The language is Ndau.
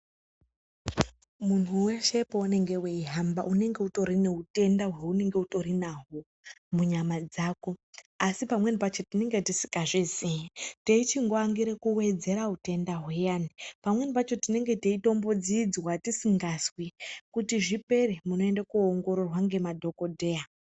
Munhu weshe pounenge weihamba unenge utori neutenda hweunenge unahwo munyama dzako, asi pamweni pacho tinenge tisikazvizii teichingoangire kuwedzera utenda huyani. Pamweni pacho tinenge teitombo dziidzwa tisingazwi. Kuti zvipere munoende kuoongororwa ngema dhogodheya.